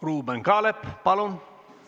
Ruuben Kaalep, palun!